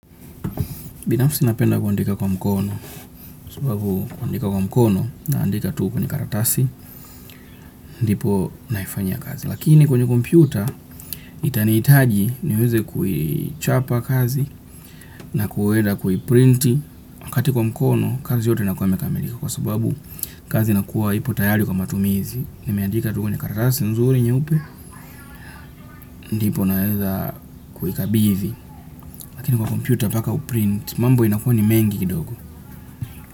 Binafsi napenda kuandika kwa mkono, sababu kuandika kwa mkono, naandika tu kwenye karatasi, ndipo naifanya kazi. Lakini kwenye kompyuta, itaniitaji niweze kuichapa kazi, na kuenda kuiprinti. Wakati kwa mkono, kazi yote inakuwa imekamilika, kwa sababu kazi inakuwa ipo tayari kwa matumizi. Nimeandika tu kwenye karatasi nzuri nyeupe, ndipo naweza kuikabidhi. Lakini kwa kompyuta mpaka uprinti, mambo inakua ni mengi kidogo.